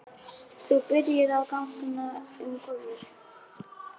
Þú byrjar að ganga um gólf.